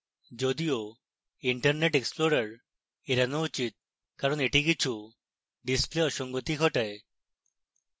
যদিও internet explorer এড়ানো উচিত কারণ এটি কিছু display অসঙ্গতি ঘটায়